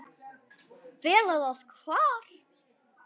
Fela það hvar?